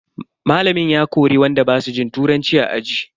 Malamin ya kori wanda basu jin turanci a aji.